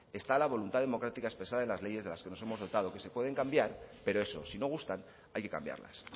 está la voluntad democrática expresada en las leyes de las que nos hemos dotado que se pueden cambiar pero eso si no gustan hay que cambiarlas